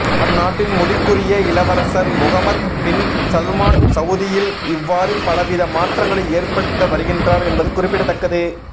அந்நாட்டின் முடிக்குரிய இளவரசர் முகமத் பின் சல்மான் சவூதியில் இவ்வாறு பலவித மாற்றங்களை ஏற்படுத்த வருகின்றார் என்பது குறிப்பித்தக்கது